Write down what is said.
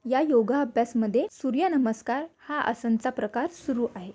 या योगा अभ्यास मध्ये सूर्यनमस्कार हा आसन च प्रकार सुरू आहे.